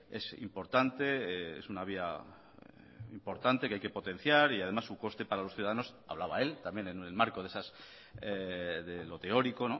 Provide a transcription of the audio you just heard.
es importante es una vía importante que hay que potenciar y además un coste para los ciudadanos hablaba él también en el marco de lo teórico